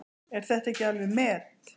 Er þetta ekki alveg met!